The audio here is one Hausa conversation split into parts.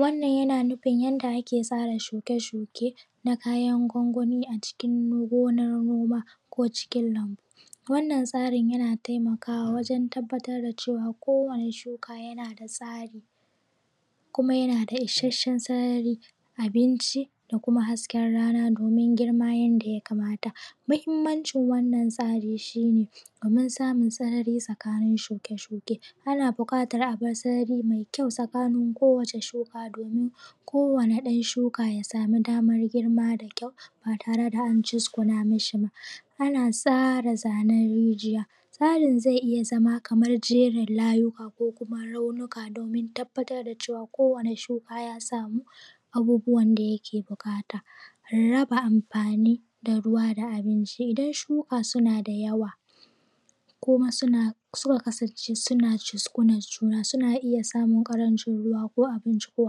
wannan yana nufin yadda ake tsara shuke-shuke na kayan gwangwani a cikin gonar noma ko cikin lambu wannan tsarin yana taimakawa wajen tabbatar da cewa kowane shuka yana da tsari kuma yana da isasshen tsarin abinci da kuma hasken rana domin girma yadda ya kamata muhimmancin wannan tsarin shi ne domin samun sarari tsakanin shuke-shuke ana bukatar abar sarari mai kyau tsakanin kowane shuka domin ko wani ɗan shuka ya samu daman girma da kyau ba tare da an cizguna mishi ba ana tsara zanen rijiya tsarin zai iya zama kamar jerin layuka ko kuma raunuka domin tabbatar da cewa ko wani shuka ya samu abubuwan da yake buƙata raba amfani da ruwa da abinci idan shuka suna da yawa kuma suka kasance suna cizgunan juna suna iya samun ƙarancin ruwa ko abinci ko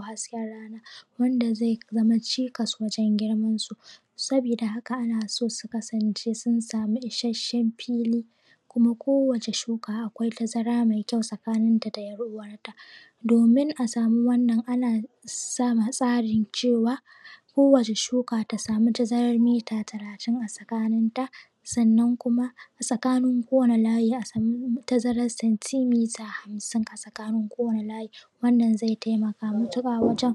hasken rana wanda zai zama cikas wajen girman su saboda haka ana so su kasance sun samu isashshen fili kuma kowacce shuka akwai tazara mai kyau tsakanin ta da ‘yar uwarta domin a samu wannan ana sama tsarin cewa kowacce shuka ta samu tazarar mita talatin a tsakanin ta sannan kuma tsakanin ko wani layi a samu tazarar santimita hamsin a tsakanin ko wani layi wannan zai taimaka matuƙa wajen